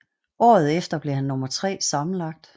Året efter blev han nummer tre sammenlagt